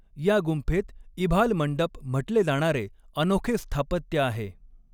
या गुंफेत इभाल मंडप म्हटले जाणारे अनोखे स्थापत्य आहे.